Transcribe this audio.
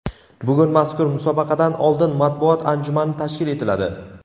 Bugun mazkur musobaqadan oldin matbuot anjumani tashkil etiladi.